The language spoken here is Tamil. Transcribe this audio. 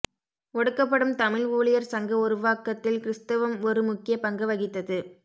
ஒடுக்கப்படும் தமிழ் ஊழியர் சங்க உருவாக்கத்தில் கிறிஸ்தவம் ஒரு முக்கிய பங்கு வகித்தது